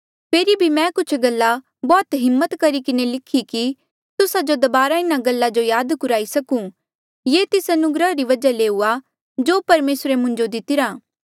फेरी भी मैं कुछ गल्ला बौह्त हिम्मत करी किन्हें लिखी कि तुस्सा जो दबारा इन्हा गल्ला जो याद कुराई सकूं ये तेस अनुग्रह री वजहा ले हुआ जो परमेसरे मुंजो दितिरा